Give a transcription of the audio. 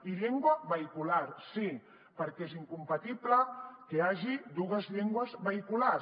i llengua vehicular sí perquè és incompatible que hi hagi dues llengües vehicular